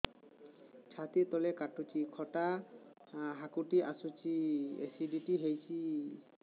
ଛାତି ତଳେ କାଟୁଚି ଖଟା ହାକୁଟି ଆସୁଚି ଏସିଡିଟି ହେଇଚି